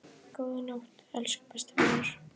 Góða nótt, elsku besti vinur.